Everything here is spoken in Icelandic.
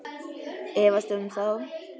Ég efast um það.